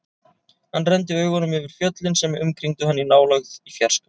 Hann renndi augunum yfir fjöllin sem umkringdu hann, í nálægð, í fjarska.